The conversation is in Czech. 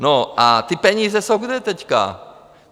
No a ty peníze jsou kde teďka?